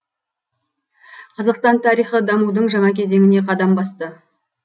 қазақстан тарихы дамудың жаңа кезеңіне қадам басты